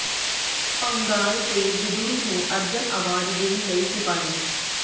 ਪੰਘਾਲ ਤੇ ਬਿਧੂੜੀ ਨੂੰ ਅਰਜਨ ਐਵਾਰਡ ਦੇਣ ਲਈ ਸਿਫ਼ਾਰਿਸ਼